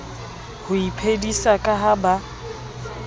ho iphedisa ka ha ba